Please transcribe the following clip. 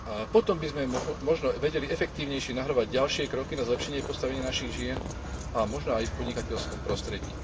Potom by sme možno vedeli efektívnejšie navrhovať ďalšie kroky na zlepšenie postavenia našich žien a možno aj v podnikateľskom prostredí.